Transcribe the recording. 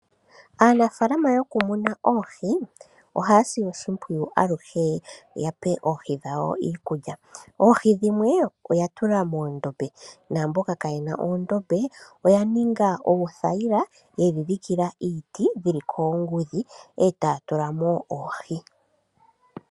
Aanafaalama yokumuna oohi ohaya si oshimpwiyu aluhe ya pe oohi dhawo iikulya. Oohi dhimwe oya tula moondombe naamboka kaayena oondombe oya ninga oothayila yedhi dhikila iiti dhili koongudhi e taya tula mo oohi.